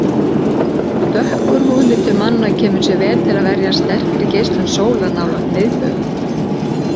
Dökkur húðlitur manna kemur sér vel til að verjast sterkri geislun sólar nálægt miðbaug.